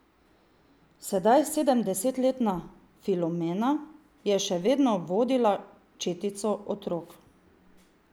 Sedaj sedemdesetletna Filomena je še vedno vodila četico otrok.